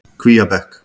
Kvíabekk